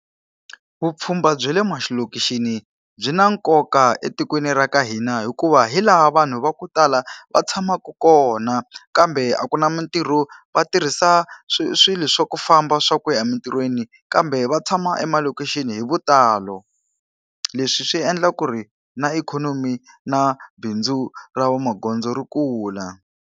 Vupfhumba bya le malokishini byi na nkoka etikweni ra ka hina hikuva hi laha vanhu va ku tala va tshamaku kona, kambe a ku na mitirho va tirhisa swi swilo swa ku famba swa ku ya emintirhweni kambe va tshama emalokixini hi vutalo. Leswi swi endla ku ri na ikhonomi na bindzu ra vamagondzo ri kula.